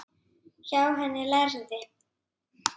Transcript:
Hjá henni lærði